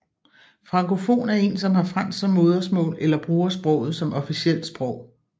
Frankofon er en som har fransk som modersmål eller bruger sproget som officielt sprog